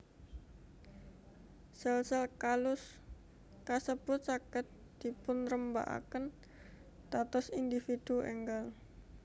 Sel sel kalus kasebut saged dipunrembagaken dados individu enggal